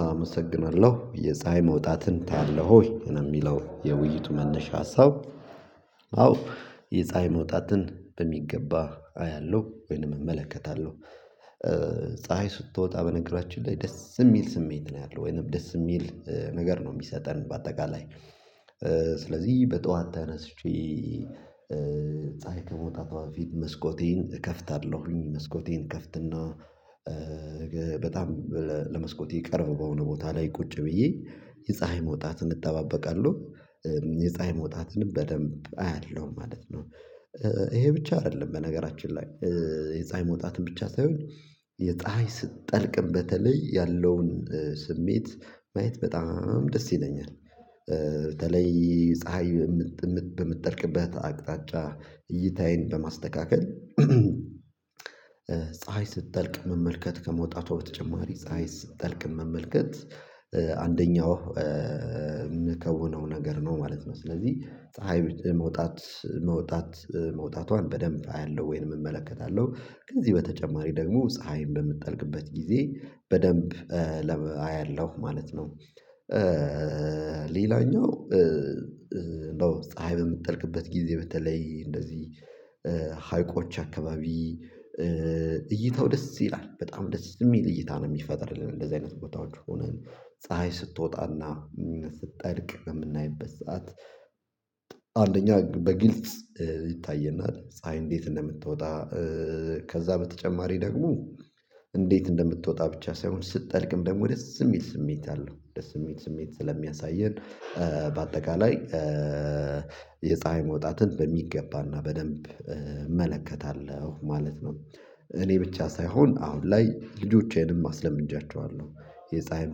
አመሰግናለሁ የፀሀይ መውጣትን ታያለህ ወይ ነው የሚለው የውይይቱ መነሻ ሀሳብ? አዎ የፀሀይ መውጣትን በሚገባ አያለሁ ወይንም እመለከታለሁ። ፀሀይ ስትወጣ በነገራችን ላይ ደስ የሚል ስሜት ነው ያለው ወይንም ደስ የሚል ነገር ነው የሚሰጠን በአጠቃላይ። ስለዚህ በጧት ተነስቼ ፀሀይ ከመውጣቷ በፊት መስኮቴን እከፍታለሁኝ መስኮቴን እከፍትና በጣም ለመስኮቴ ቅርብ በሆነ ቦታ ላይ ቁጭ ብዬ የፀሀይ መውጣትን እጠባበቃለሁ። የፀሀይ መውጣትንም በደንብ አያለሁም ማለት ነው። ይሄ ብቻ አይደለም በነገራችን ላይ የፀሀይ መውጣትን ብቻ ሳይሆን የፀሀይ ስትጠልቅም በተለይ ያለውን ስሜት ማየት በጣም ደስ ይለኛል። በተለይ ፀሀይ በምትጠልቅበት አቅጣጫ እይታዬን በማስተካከል ፀሀይ ስትጠልቅ መመልከት ከመውጣቷ በተጨማሪ ፀሀይ ስትጠልቅ መመልከት። አንደኛው የምከውነው ነገር ነው ማለት ነው። ስለዚህ ፀሀይ መውጣት መውጣት መውጣቷን በደንብ አያለሁ ወይንም እመለከታለሁ ከዚህ በተጨማሪ ደግሞ ፀሀይን በምትጠልቅበት ጊዜ በደንብ ለ አያለሁ ማለት ነው። ሌላኛው ነው ፀሀይ በምትጠልቅበት ጊዜ በተለይ እንደዚህ ሀይቆች አካባቢ። እይታው ደስ ይላል በጣም ደስ የሚል እይታ ነው የሚፈጥርልን እንደዚህ አይነት ቦታዎች ሆነን ፀሀይ ስትወጣና ስትጠልቅ የምናይበት ሰዓት። አንደኛ በግልጽ ይታየናል ፀሀይ እንዴት እንደምትወጣ። ከዛ በተጨማሪ ደግሞ እንዴት እንደምትወጣ ብቻ ሳይሆን ስትጠልቅም ደግሞ ደስ የሚል ስሜት አለው ደስ የሚል ስሜት ስለሚያሳየን። በአጠቃላይ የፀሀይ መውጣትን በሚገባና በደንብ እመለከታለሁ ማለት ነው። እኔ ብቻ ሳይሆን አሁን ላይ ልጆቼንም አስለምጃቸዋለሁ የፀሀይ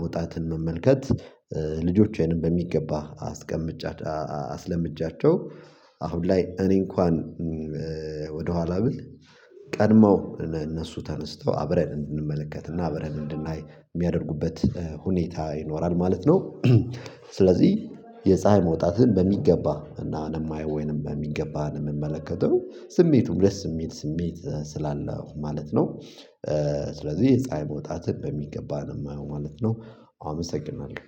መውጣትን መመልከት። ልጆቿንም በሚገባ አስለምጃቸው። አሁን ላይ እኔ እንኳን ወደኋላ ብል ቀድመው እነሱ ተነስተው አብረን እንድንመለከት እና አብረን እንድናይ የሚያደርጉበት ሁኔታ ይኖራል ማለት ነው። ስለዚህ የፀሀይ መውጣትን በሚገባ እና ነው የማየው ወይንም በሚገባ ነው የምመለከተው ስሜቱም ደስ የሚል ስሜት ስላለው ማለት ነው። ስለዚህ የፀሀይ መውጣትን በሚገባን የማየው ማለት ነው። አመሰግናለሁ